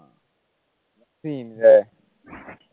പിന്നെ